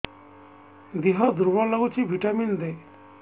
ଦିହ ଦୁର୍ବଳ ଲାଗୁଛି ଭିଟାମିନ ଦେ